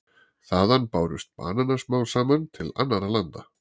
Þaðan bárust bananar smám saman til annarra landa.